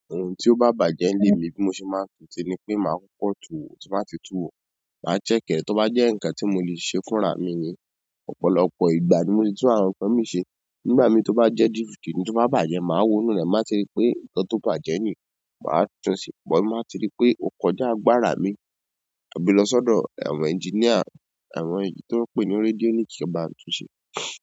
Ohun tí ó bá bàjẹ́ nílé mi bí mo ṣe máa ń tún ti ní pé màá kọ́kọ tu wò tí n bá ti tú wò, màá check ẹ́ to bá jẹ́ ǹnkan tí mo lè ṣe fúnra mi ni, ọ̀pọ̀lọpọ̀ ìgbà ni mo ti tún àwọn nǹkan mii ṣe. Nígbà mii tó bá jẹ́ dìskì ní to bá bàjẹ́ màá wo inú rẹ, màá ti rí pé nǹkan tó bàjẹ́ ni, màá tún ṣe bọ̀, ti n ba ti rí pé ò kọjá agbára mi, maa gbe lọ sọ́dọ̀ àwọn ẹnjíníà, àwọn èyí tí wọ́n ń pè ní rédíónìkì bá tún ṣe.